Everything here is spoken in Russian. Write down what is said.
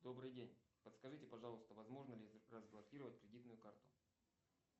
добрый день подскажите пожалуйста возможно ли разблокировать кредитную карту